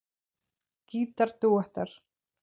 Gítar dúettar